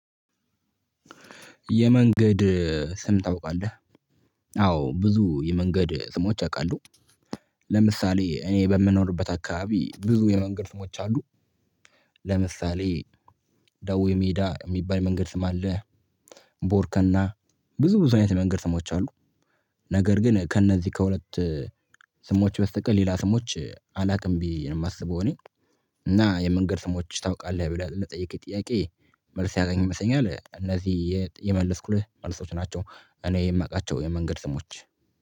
የመንገድ ስም ታውቃለህ? አዎ ብዙ የመንገድ ስሞች አውቃለሁ ለምሳሌ እኔ በምኖርበት አካባቢ ብዙ የመንገድ ስሞች አሉ። ለምሳሌ ደው ሜዳ የሚባል መንገድ ስም አለ። ቦርከና ብዙ ብዙ አይነት መንገድ ስሞች አሉ። ነገር ግን ከእነዚህ ከሁለት ስሞች በስተቀር ሌላ ስሞች አላውቅም ብዬ ነው የማስበው እኔ እና የመንገድ ስሞች ታውቃለህ ብላ ለጠየከኝ ጥያቄ መልስ ያተንኝ ይመስለኛል እነዚህ የመለስኩልህ መልሶች ናቸው። እኔ የማውቃቸው የመንገድ ስሞች